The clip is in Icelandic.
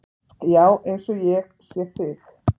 Já, eins og ég sé þig.